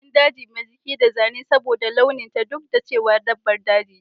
Ina son jakin daji mai jiki da zane saboda launin ta duk da cewa dabbar daji ce